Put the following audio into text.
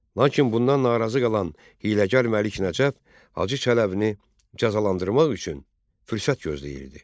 Lakin bundan narazı qalan hiyləgər Məlik Nəcəf Hacı Çələbini cəzalandırmaq üçün fürsət gözləyirdi.